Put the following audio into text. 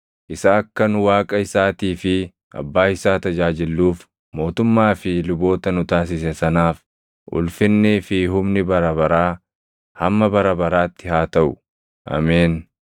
isa akka nu Waaqa isaatii fi Abbaa isaa tajaajilluuf mootummaa fi luboota nu taasise sanaaf ulfinnii fi humni bara baraa hamma bara baraatti haa taʼu! Ameen.